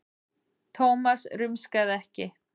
Thomas rumskaði ekki.